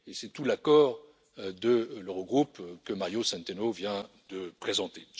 C'est tout l'accord de l'Eurogroupe que Mario Centeno vient de présenter.